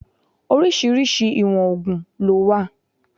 Orísìírísìí ìwọ̀n ògùn ló wà